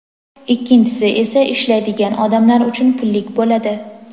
ikkinchisi esa ishlaydigan odamlar uchun pullik bo‘ladi.